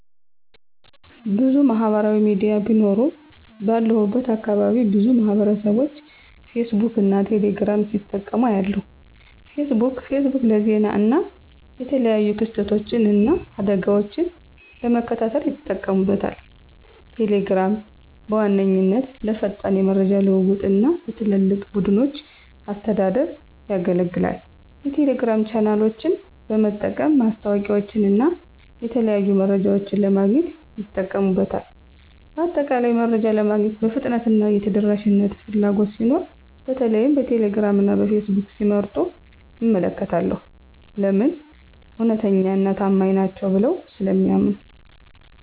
**ብዙ ማህበራዊ ሚዲያ ቢኖሩም፦ ባለሁበት አካባቢ ብዙ ማህበረሰብቦች ፌስቡክን እና ቴሌ ግራምን ሲጠቀሙ አያለሁ፤ * ፌስቡክ: ፌስቡክ ለዜና እና የተለያዩ ክስተቶችን እና አደጋወችን ለመከታተል ይጠቀሙበታል። * ቴሌግራም: ቴሌግራም በዋነኛነት ለፈጣን የመረጃ ልውውጥ እና ለትላልቅ ቡድኖች አስተዳደር ያገለግላል። የቴሌግራም ቻናሎችን በመጠቀም ማስታወቂያወችንና የተለያዩ መረጃዎችን ለማግኘት ይጠቀሙበታል። በአጠቃላይ፣ መረጃ ለማግኘት የፍጥነትና የተደራሽነት ፍላጎት ሲኖር በተለይም ቴሌግራም እና ፌስቡክን ሲመርጡ እመለከታለሁ። *ለምን? እውነተኛና ታማኝ ናቸው ብለው ስለሚያምኑ።